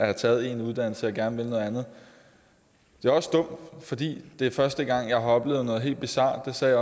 har taget en uddannelse og gerne vil noget andet det er også dumt fordi det er første gang jeg har oplevet noget så helt bizart det sagde